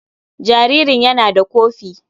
Jaririn yana da kofi.